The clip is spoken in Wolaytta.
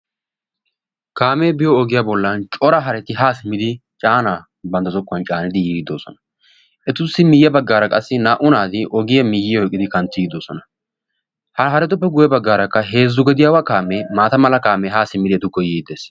kaamee biyoo ogiyaa bollani cora haretti haa simmidi caannaa bantta zokkuwaan caanidi yiidi doosona. etuussi miyye baggaara qassi na"u naati ogiyaa miyyiyaa oyqqidi kanttidi de'oosona. ha harettuppe guyye baggaara heezzu gediyaawa kamee haa simmidi etukko yiidi dees.